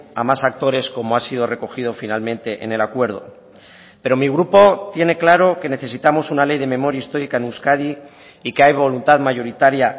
a más actores como ha sido recogido finalmente en el acuerdo pero mi grupo tiene claro que necesitamos una ley de memoria histórica en euskadi y que hay voluntad mayoritaria